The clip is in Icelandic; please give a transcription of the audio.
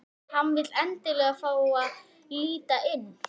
Hann vill endilega fá að líta inn.